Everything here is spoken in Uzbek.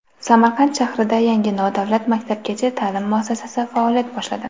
Samarqand shahrida yangi nodavlat maktabgacha ta’lim muassasasi faoliyat boshladi.